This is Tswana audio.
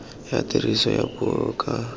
ya tiriso ya puo ka